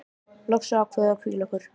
Loks ákváðum við að hvíla okkur.